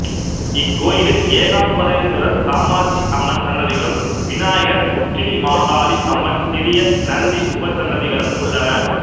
இக்கோயிலில் ஏகாம்பரேஸ்வரர் காமாட்சி அம்மன் சன்னதிகளும் விநாயகர் உச்சினிமாகாளி அம்மன் சிறிய நந்தி உபசன்னதிகளும் உள்ளன